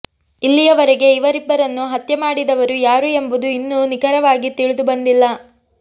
ಇಲ್ಲಿಯವರೆಗೆ ಇವರಿಬ್ಬರನ್ನು ಹತ್ಯೆ ಮಾಡಿದವರು ಯಾರು ಎಂಬುದು ಇನ್ನೂ ನಿಖರವಾಗಿ ತಿಳಿದುಬಂದಿಲ್ಲ